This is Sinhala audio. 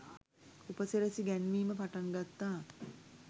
උපසිරසි ගැන්වීම පටන් ගත්තා.